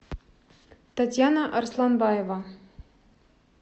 татьяна арсланбаева